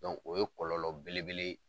o ye kɔlɔlɔ bele bele